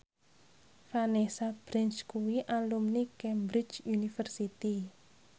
Vanessa Branch kuwi alumni Cambridge University